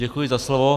Děkuji za slovo.